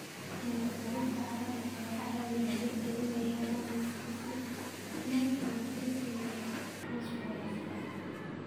Microbes-ka carrada ayaa ka caawiya dhirta inay helaan nafaqo sida nitrogen iyo fosfooraska.